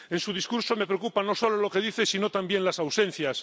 En su discurso me preocupa, no solo lo que dice, sino también las ausencias.